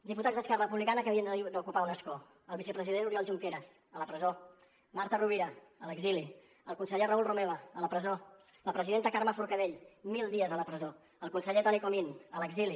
diputats d’esquerra republicana que havien d’ocupar un escó el vicepresident oriol junqueras a la presó marta rovira a l’exili el conseller raül romeva a la presó la presidenta carme forcadell mil dies a la presó el conseller toni comín a l’exili